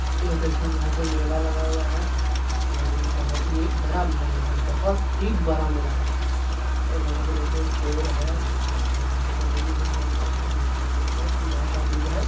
ये देखिए यहाँ पे मेला लगा हुआ है और इ बहुत ही बरा मेला लग रहा है बहुत ही बड़ा मेला है और यहाँ पे देखिए पेड़ है और यहाँ पे बैलून - वैलून टांगा हुआ है मिक्की माउस है सुधा का दूध है।